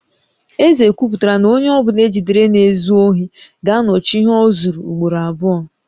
Eze ekwuputala na onye ọ bụla e jidere na-ezu ohi ga-anọchi ihe o zuru ugboro abụọ